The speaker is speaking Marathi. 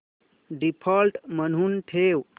डिफॉल्ट म्हणून ठेव